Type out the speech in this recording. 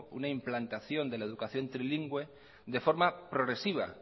una implantación de la educación trilingüe de forma progresiva